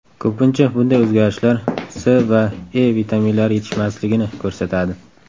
Ko‘pincha, bunday o‘zgarishlar C va E vitaminlari yetishmasligini ko‘rsatadi.